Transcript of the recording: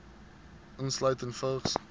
insluitende vigs